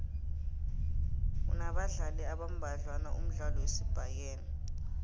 unabadlali abambadlwana umdlalo wesibhakela